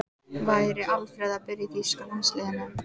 Væri Alfreð að byrja í þýska landsliðinu?